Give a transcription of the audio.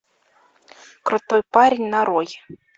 крутой парень нарой